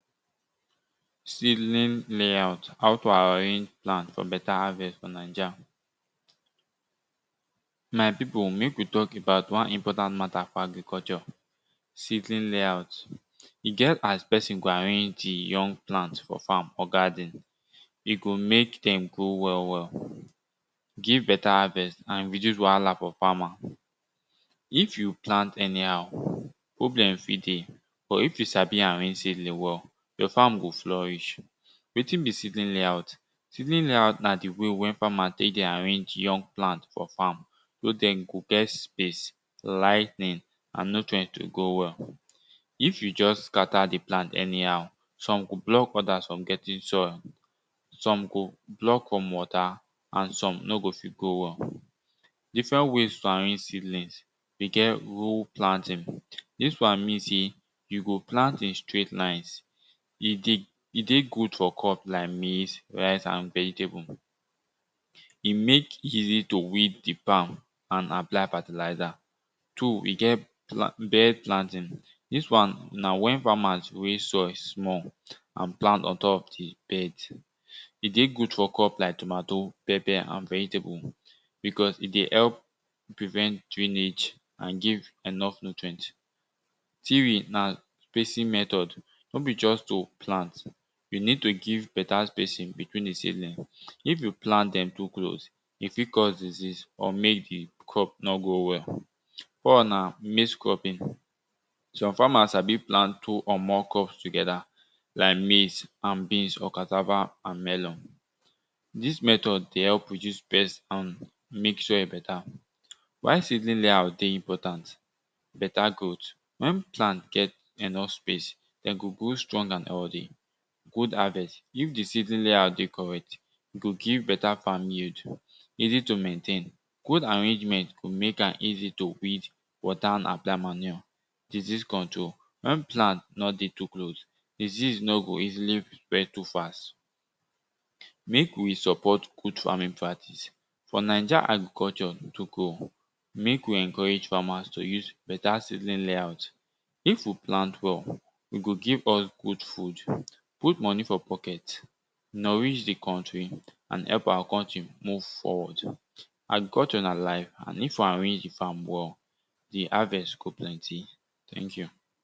Seedling layout how to arrange plant for beta harvest for naija. My pipu mek we tak about wan important mata for agriculture. seedling latout. E get as pesin go arrange e young plant for farm or garden, e go mek dem grow well well give beta harvest and reduce wahala for farmers. If you plant anyhow, problem fit dey but if you sabi your farm go florish. Wetin be seedling layout? Seedling layout na di way wey farmers dey arrange young plant for farm wey den go get space, lighting and nutrient to grow well. If you just scatter di plant anyhow, some go just block other from getting sun, some go block from water and some no go fit grow well. Different ways to arrange seedlings, we get row planting. Dis wan mean sey we go plant a straight line e dey good for crops like maize, rice and vegetable. E mek easy to weed di frm and apply fertilizer. Two e get bed planting dis wan na wen farmers win soil small and plant ontop di bed. E dey good crop like tomatoe, pepper, and vegetable because e dey help prevent drainage and give enough nutrients. Three na spacing method. No be just de plant, you need to give beta spacing between a seedling. If you plant dem too close e fit cause disease or mek di crop nor grow well. Four na maize cropping. Some farmers sabi plant two or more crop together like maize and beans or cassava and melon. Dis method dey help reduce pest and mek sure e beta. Why seedling layout dey important? Beta growth. Wen plant get enough space den go go strong and healthy, good harvest if di seedling layout dey correct, e go give beta farm yield. easy to maintain. Good arrangement go mek am easy to weed, water and apply manure. disease control wen plant nor dey too close, disease no go easily spread too fast. Mek we support good farming practice. For naija agriculture to grow, mek we encourage farmers to use beta seedling layout. If we plant well, e go give us good food, good moni for pocket, nourish di country and help our country move forward. Agriculture na life and if we arrange di farm well, di harvest go plenty. Thank you